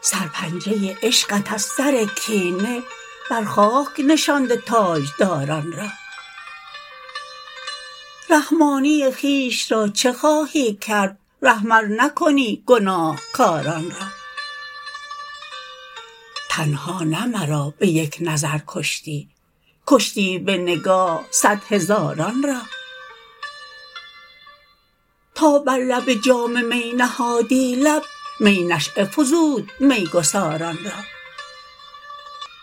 سر پنجه عشقت از سر کینه بر خاک نشانده تاج داران را رحمانی خویش را چه خواهی کرد رحم ار نکنی گناه کاران را تنها نه مرا به یک نظر کشتی کشتی به نگاه صد هزاران را تا بر لب جام می نهادی لب می نشیه فزود می گساران را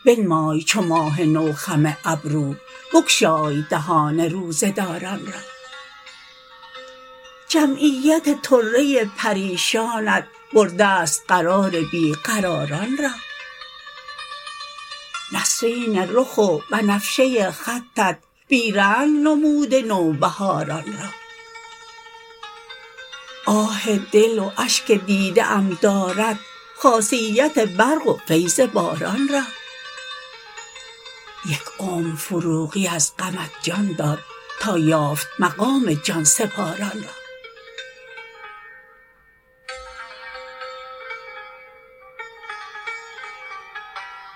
بنمای چو ماه نو خم ابرو بگشای دهان روزه داران را جمعیت طره پریشانت برده ست قرار بی قراران را نسرین رخ و بنفشه خطت بی رنگ نموده نوبهاران را آه دل و اشک دیده ام دارد خاصیت برق و فیض باران را یک عمر فروغی از غمت جان داد تا یافت مقام جان سپاران را